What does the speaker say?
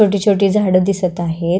छोटी छोटी झाड दिसत आहेत.